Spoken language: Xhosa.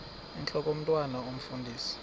intlok omntwan omfundisi